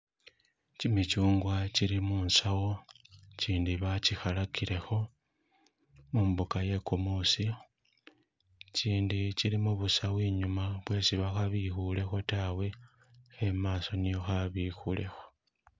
Kimichungwa kili munsaawo ichindi bachi khalakilekho mumbuka iye kumuusi ichindi chili mubusawo inyuma bwesi bakhabikhulekho taawe khe mumaaso nikho kha bikhulekho.